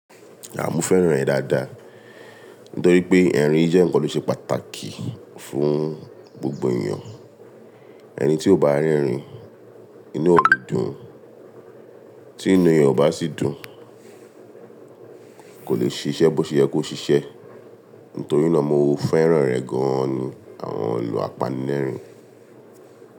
À mo fẹ́ràn ẹ̀ dáadáa, nítorí pé ẹ̀rín jẹ́ ǹkan tó ṣe pàtàkì fún gbogbo ènìyàn. Ẹni tí ò bá n rẹ̀rín, inú ò n dùn, tí inú eyàn ò bá sì dùn kò lè ṣiṣẹ́ bó ṣe yẹ kó ṣiṣẹ́. Nítorí náà mo fẹ́ràn rẹ̀ gan-an ni àwọn ìlò apanilẹ́rìn-ín.